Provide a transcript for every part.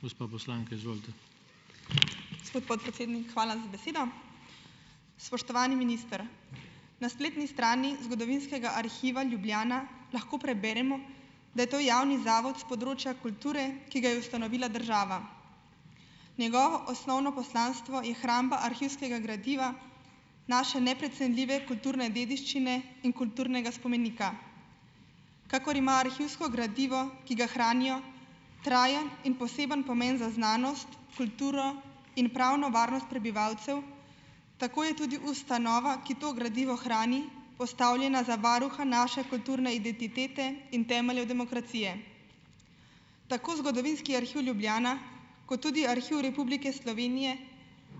Gospod podpredsednik, hvala za besedo. Spoštovani minister! Na spletni strani Zgodovinskega arhiva Ljubljana lahko preberemo, da je to javni zavod s področja kulture, ki ga je ustanovila država. Njegovo osnovno poslanstvo je hramba arhivskega gradiva, naše neprecenljive kulturne dediščine in kulturnega spomenika. Kakor ima arhivsko gradivo, ki ga hranijo, trajen in poseben pomeni za znanost, kulturo in pravno varnost prebivalcev, tako je tudi ustanova, ki to gradivo hrani, postavljena za varuha naše kulturne identitete in temeljev demokracije. Tako Zgodovinski arhiv Ljubljana kot tudi Arhiv Republike Slovenije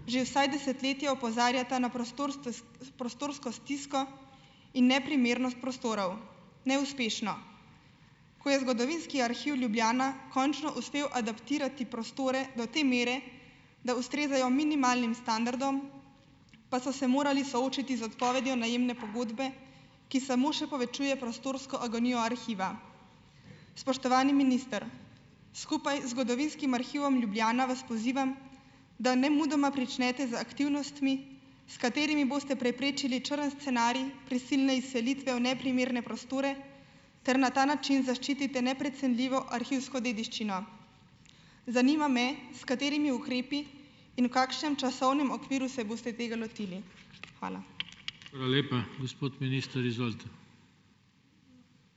že vsaj desetletje opozarjata na prostorsto prostorsko stisko in neprimernost prostorov neuspešno. Ko je Zgodovinski arhiv Ljubljana končno uspel adaptirati prostore do te mere, da ustrezajo minimalnim standardom, pa so se morali soočiti z odpovedjo najemne pogodbe, ki samo še povečuje prostorsko agonijo arhiva. Spoštovani minister, skupaj z Zgodovinskim arhivom Ljubljana vas pozivam, da nemudoma pričnete z aktivnostmi, s katerimi boste preprečili črn scenarij prisilne izselitve v neprimerne prostore ter na ta način zaščitite neprecenljivo arhivsko dediščino. Zanima me, s katerimi ukrepi in v kakšnem časovnem okviru se boste tega lotili. Hvala.